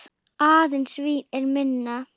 Aðeins Vín er minna.